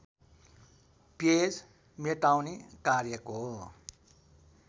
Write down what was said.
page मेटाउने कार्यको